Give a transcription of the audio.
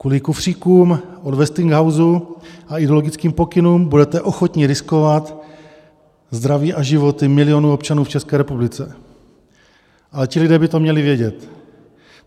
Kvůli kufříkům od Westinghousu a ideologickým pokynům budete ochotni riskovat zdraví a životy milionů občanů v České republice, ale ti lidé by to měli vědět.